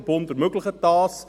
der Bund ermöglicht dies.